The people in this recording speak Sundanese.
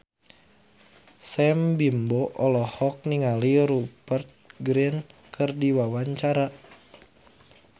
Sam Bimbo olohok ningali Rupert Grin keur diwawancara